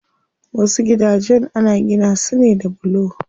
Wasu gidajen ana gina su ne da bulo.